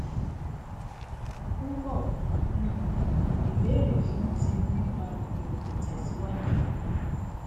púpọ um ìbéèrè fún ti nípa ìwọn itẹsiwaju